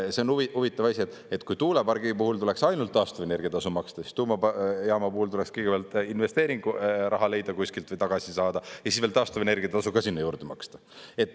See on huvitav asi, et kui tuulepargi puhul tuleks ainult taastuvenergia tasu maksta, siis tuumajaama puhul tuleks kõigepealt investeeringuraha leida kuskilt või tagasi saada ja siis veel taastuvenergia tasu ka sinna juurde maksta.